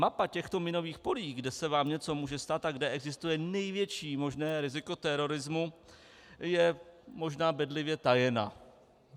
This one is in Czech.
Mapa těchto minových polí, kde se vám něco může stát a kde existuje největší možné riziko terorismu, je možná bedlivě tajena.